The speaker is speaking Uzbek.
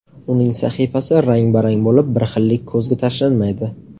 Uning sahifasi rang-barang bo‘lib, bir xillik ko‘zga tashlanmaydi.